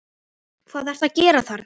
HVAÐ ERTU AÐ GERA ÞARNA!